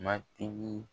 Matigi